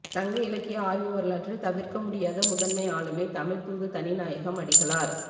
சங்க இலக்கிய ஆய்வு வரலாற்றில் தவிர்க்க முடியாத முதன்மை ஆளுமை தமிழ்த் தூது தனிநாயகம் அடிகளார்